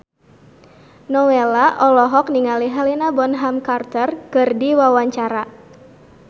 Nowela olohok ningali Helena Bonham Carter keur diwawancara